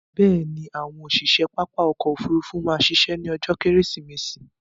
Bẹ̀ẹ̀ni, àwọn òṣiṣe pápá ọkò òfurufú má ṣiṣẹ́ ní ọjó kẹ́rẹ́sìmẹsì